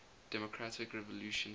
democratic revolution prd